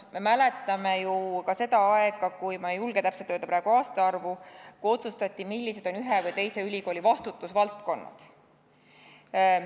Me mäletame ju ka seda aega – ma ei julge täpselt praegu öelda aastaarvu –, kui otsustati, millised on ühe või teise ülikooli vastutusvaldkonnad.